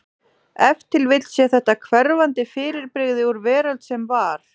Ef til vill sé þetta hverfandi fyrirbrigði úr veröld sem var.